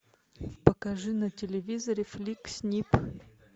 покажи на телевизоре фликс снип